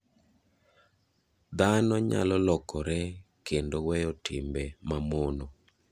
Dhano nyalo lokore kendo weyo timbe ma mono.